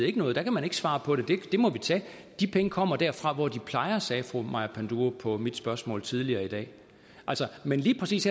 ikke noget der kan man ikke svare på det det må vi tage de penge kommer derfra hvor de plejer sagde fru maja panduro på mit spørgsmål tidligere i dag men lige præcis